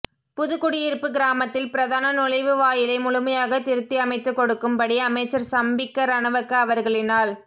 புதுகுடியிறுப்பு கிராமத்தில் பிரதான நுழைவு வாயிலை முழுமையாக திருத்தி அமைத்துகொடுக்கும் படி அமைச்சர் சம்பிக்க ரணவக்க அவர்களினால்